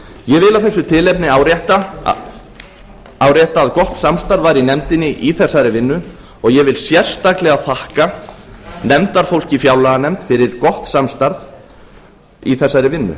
ég vil af þessu tilefni árétta að gott samstarf var í nefndinni í þessari vinnu og ég vil sérstaklega þakka nefndarfólki í fjárlaganefnd fyrir gott samstarf í þessari vinnu